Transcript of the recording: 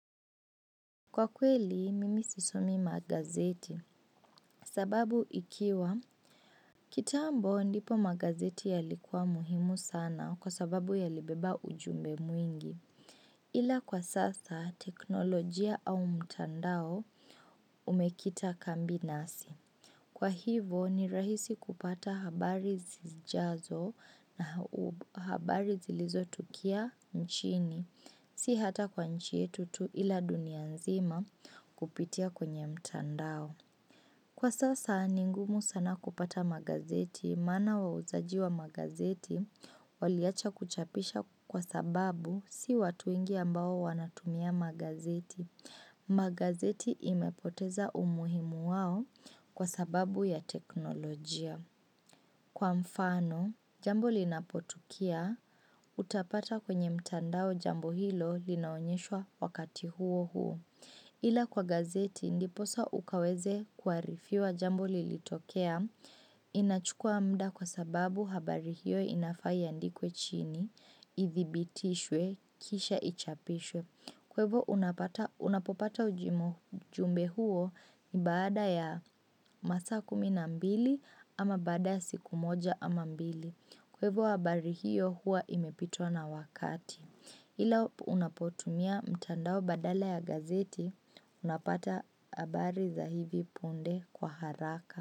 Kwa kweli, mimi sisomi magazeti. Sababu ikiwa, kitambo ndipo magazeti ya likuwa muhimu sana kwa sababu yalibeba ujumbe mwingi. Ila kwa sasa, teknolojia au mtandao umekita kambi nasi. Kwa hivo, ni rahisi kupata habari zijazo na habari zilizotukia nchini. Si hata kwa nchi yetu tu ila dunia nzima kupitia kwenye mtandao. Kwa sasa, ningumu sana kupata magazeti, maana wauzaji wa magazeti, waliacha kuchapisha kwa sababu si watu wengi ambao wanatumia magazeti. Magazeti imepoteza umuhimu wao kwa sababu ya teknolojia. Kwa mfano, jambo linapotukia, utapata kwenye mtandao jambo hilo linaonyeshwa wakati huo huo. Ila kwa gazeti, ndiposa ukaweze kuarifiwa jambo lilitokea, inachukua muda kwa sababu habari hiyo inafaa iandikwe chini, idhibitishwe, kisha ichapishwe. Kwa ivo unapopata ujumbe huo ni baada ya masaa kumi na mbili ama baada ya siku moja ama mbili. Kwa hivo habari hiyo huwa imepitwa na wakati. Ila unapotumia mtandao badala ya gazeti, unapata habari za hivi punde kwa haraka.